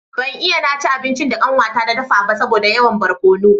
Ban iya na ci abincin da kanwata ta dafa ba saboda yawan barkono